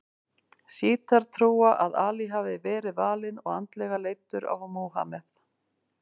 Sjítar trúa að Ali hafi verið valinn og andlega leiddur af Múhameð.